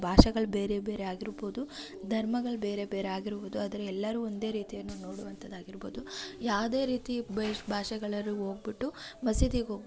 ಭಾಷೆಗಳು ಬೇರೆ ಬೇರೆ ಆಗಿರಬಹುದು ಧರ್ಮಗಳು ಬೇರೆ ಬೇರೆ ಆಗಿರಬಹುದು ಆದ್ರೆ ಎಲ್ಲರೂ ಒಂದೇ ರೀತಿಯ ನೋಡುವಂತದ್ದು ಆಗಿರಬಹುದು ಯಾವುದೇ ರೀತಿಯ ಎಷ್ಟ್ ಭಾಷೆಯವರು ಹೋಗಿಬಿಟ್ಟು ಮಸೀದಿಗೆ ಹೋಗ್--